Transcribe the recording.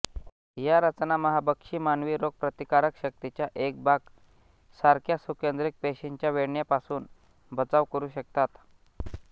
या रचना महाभक्षी मानवी रोगप्रतिकारक शक्तीचा एक भाग सारख्या सुकेन्द्रिक पेशींच्या वेढण्यापासून बचाव करू शकतात